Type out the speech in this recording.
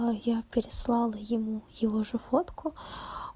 но я переслала ему его же фотку